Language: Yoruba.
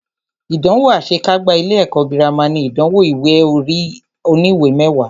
Ìdánwò àṣe kágbá ilé ẹ̀kọ́ gírámà ní ìdánwò ìwé ẹ̀rí oníwè mẹwàá.